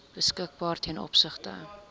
beskikbaar ten opsigte